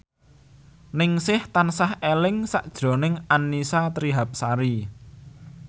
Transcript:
Ningsih tansah eling sakjroning Annisa Trihapsari